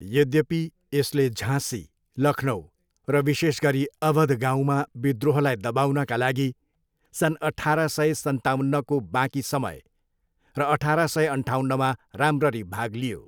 यद्यपि, यसले झाँसी, लखनउ र विशेष गरी अवध गाउँमा विद्रोहलाई दबाउनका लागि सन् अठार सय सन्ताउन्नको बाँकी समय र अठार सय अन्ठाउन्नमा राम्ररी भाग लियो।